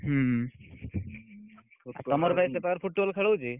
ହୁଁ, ତମର ଭାଇ ସେପଟରେ Football ଖେଳ ହଉଛି?